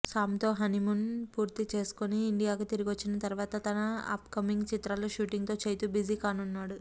సామ్తో honeymoon పూర్తి చేసుకుని ఇండియాకు తిరిగొచ్చిన తర్వాత తన అప్కమింగ్ చిత్రాల షూటింగ్తో చైతూ బిజీ కానున్నాడు